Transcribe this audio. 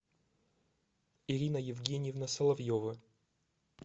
ирина евгеньевна соловьева